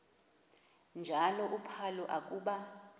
njalo uphalo akuba